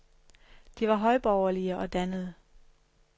De var højborgerlige og dannede.